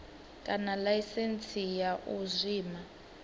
kana laisentsi ya u zwima